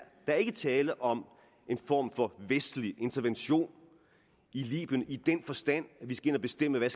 tale om en form for vestlig intervention i libyen i den forstand at vi skal ind og bestemme hvad